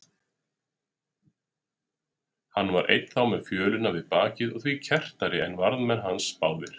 Hann var enn þá með fjölina við bakið og því kerrtari en varðmenn hans báðir.